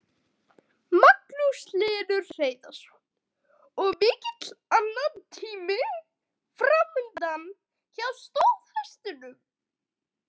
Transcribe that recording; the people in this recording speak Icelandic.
Magnús Hlynur Hreiðarsson: Og mikill annatími framundan hjá stóðhestunum?